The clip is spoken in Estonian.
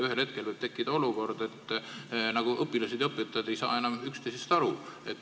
Ühel hetkel võib tekkida olukord, kus õpetajad ja õpilased ei saa enam üksteisest aru.